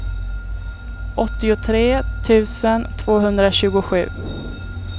åttiotre tusen tvåhundratjugosju